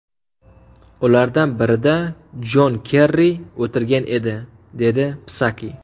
Ulardan birida Jon Kerri o‘tirgan edi”, dedi Psaki.